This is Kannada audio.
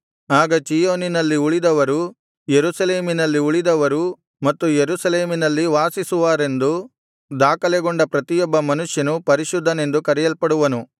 ಆಗ ಚೀಯೋನಿನಲ್ಲಿ ಉಳಿದವರು ಯೆರೂಸಲೇಮಿನಲ್ಲಿ ಉಳಿದವರು ಮತ್ತು ಯೆರೂಸಲೇಮಿನಲ್ಲಿ ವಾಸಿಸುವರೆಂದು ದಾಖಲೆಗೊಂಡ ಪ್ರತಿಯೊಬ್ಬ ಮನುಷ್ಯನು ಪರಿಶುದ್ಧನೆಂದು ಕರೆಯಲ್ಪಡುವನು